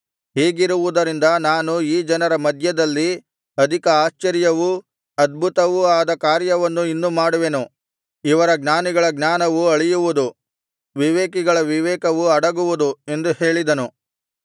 ಹೀಗಿರುವುದರಿಂದ ನಾನು ಈ ಜನರ ಮಧ್ಯದಲ್ಲಿ ಅಧಿಕ ಆಶ್ಚರ್ಯವೂ ಅದ್ಭುತವೂ ಆದ ಕಾರ್ಯವನ್ನು ಇನ್ನು ಮಾಡುವೆನು ಇವರ ಜ್ಞಾನಿಗಳ ಜ್ಞಾನವು ಅಳಿಯುವುದು ವಿವೇಕಿಗಳ ವಿವೇಕವು ಅಡಗುವುದು ಎಂದು ಹೇಳಿದನು